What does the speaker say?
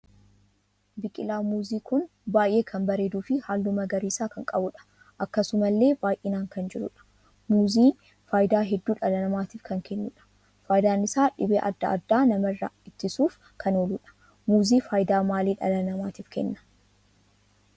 Biqilaan muuzii kun baay'ee kan bareeduu fi halluu magariisa kan qabuudha. akkasumallee baay'inaan kan jiruudha muuzii faayidaa hedduu dhala namaatiif kan kennuudha faayidaan isaa dhibee adda addaa namarraa ittisuuf kan ooluudha. muuzii faayidaa maalii dhala namaatiif Kenna?